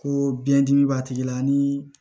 Ko biɲɛ dimi b'a tigi la ni